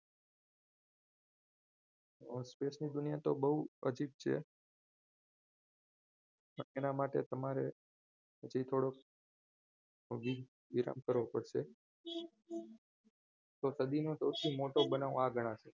space ની દુનિયા તો બહુ અજીત છે પણ એના માટે તમારે હજી થોડો હજી વિલબ કરવો પડશે તો સદીના સૌથી મોટો બનાવ આ ગણાશે